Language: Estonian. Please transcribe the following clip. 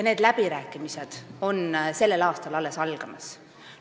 Need läbirääkimised on sellel aastal alles algamas.